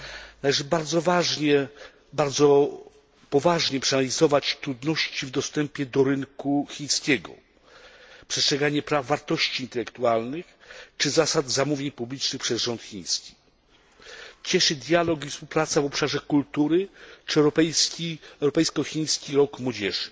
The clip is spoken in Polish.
Należy bardzo poważnie przeanalizować trudności w dostępie do rynku chińskiego, przestrzeganie praw wartości intelektualnych czy zasad zamówień publicznych przez rząd chiński. Cieszy dialog i współpraca w obszarze kultury czy europejsko chiński rok młodzieży.